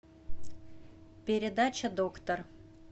передача доктор